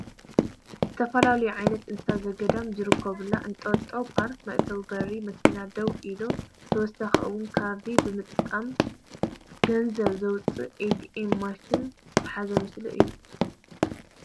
ዝተፈላለዩ ዓይነት እንስሳ ዘገዳም ዝርከብሉ እንጠጦ ፖርክ መእተዊ በሪ መኪና ደው ኢላ ብተወሳኺ እውን ካርዲ ብምጥቃም ገንዘብ ዘውፅኣ ኤትኤም ማሽን ዝሓዘ ምስሊ እዩ፡፡